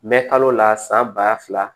Mɛ kalo la san ba fila